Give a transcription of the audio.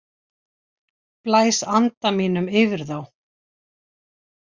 Blæs anda mínum yfir þá.